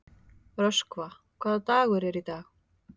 Röskva, hvaða dagur er í dag?